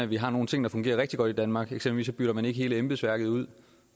vi har nogle ting der fungerer rigtig godt i danmark for eksempel bytter man ikke hele embedsværket ud